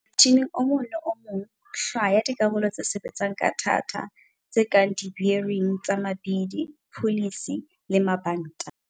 Motjhineng o mong le o mong, hlwaya dikarolo tse sebetsang ka thata, tse kang di-bearing tsa mabidi, pullies le mabanta.